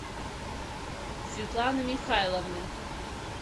светланы михайловны